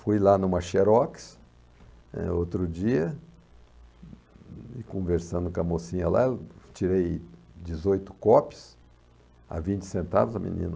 Fui lá numa Xerox, eh, outro dia, conversando com a mocinha lá, tirei dezoito cópias a vinte centavos, a menina...